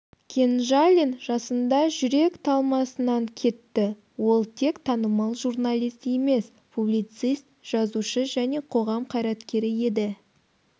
кенжалин жасында жүрек талмасынан кетті ол тек танымал журналист емес публицист жазушы және қоғам қайраткері еді